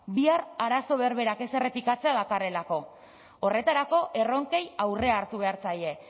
bihar arazo berberak ez errepikatzea dakarrelako horretarako erronkei aurrea hartu behar zaie